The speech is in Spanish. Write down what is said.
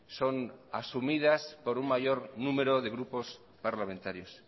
son asumidas por un mayor número de grupos parlamentarios